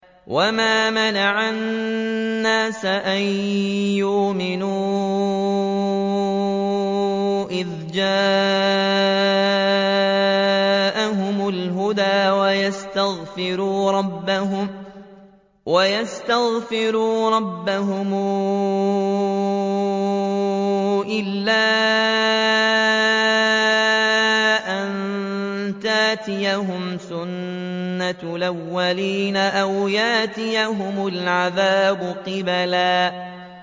وَمَا مَنَعَ النَّاسَ أَن يُؤْمِنُوا إِذْ جَاءَهُمُ الْهُدَىٰ وَيَسْتَغْفِرُوا رَبَّهُمْ إِلَّا أَن تَأْتِيَهُمْ سُنَّةُ الْأَوَّلِينَ أَوْ يَأْتِيَهُمُ الْعَذَابُ قُبُلًا